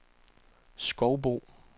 Skovbo